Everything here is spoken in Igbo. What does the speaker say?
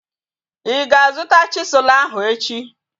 Ị ga-azuta chisụl ahu echi?